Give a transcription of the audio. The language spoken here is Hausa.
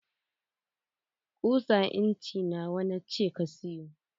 Kusa inci nawa na ce ka sayo?